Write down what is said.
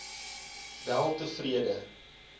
weltevrede